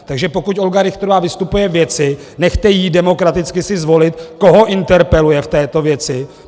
Takže pokud Olga Richterová vystupuje k věci, nechte ji demokraticky si zvolit, koho interpeluje v této věci.